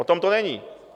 O tom to není.